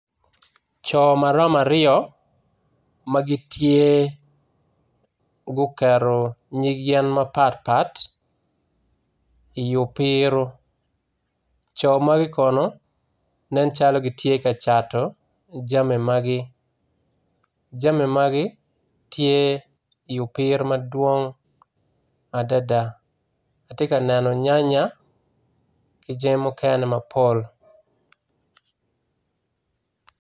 Co maromo aryo magitye guketo nyig yen mapat pat i opiro co magi kono nen calo gitye ka cato jami magi jame magi tye i opiro madwong adada atye ka neno nyanya kijami mukene mapol.